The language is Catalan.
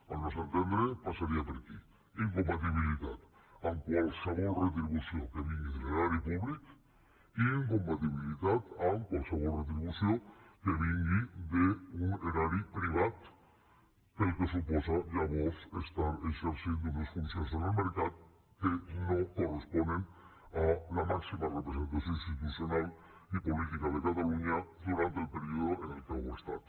al nostre entendre passaria per aquí incompatibilitat amb qualsevol retribució que vingui de l’erari públic i incompatibilitat amb qualsevol retribució que vingui d’un erari privat pel que suposa llavors estar exercint unes funcions en el mercat que no corresponen a la màxima representació institucional i política de catalunya durant el període en què ho ha estat